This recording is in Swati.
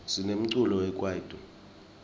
sinemculo wekwaito